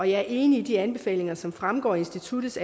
jeg er enig i de anbefalinger som fremgår af instituttets